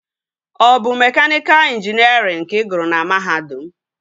Ọ bụ mekaniika ịnjinierịn ka ị gụrụ na mahadum?